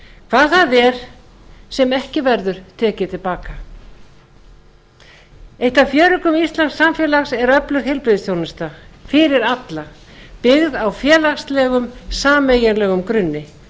hvað það er sem ekki verður tekið til baka eitt af fjöreggjum íslensks samfélags er öflug heilbrigðisþjónusta fyrir alla byggð á félagslegum sameiginlegum grunni